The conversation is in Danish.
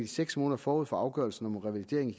seks måneder forud for afgørelsen om revalidering i